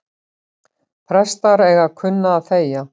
Prestar eiga að kunna að þegja